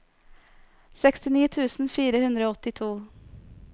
sekstini tusen fire hundre og åttito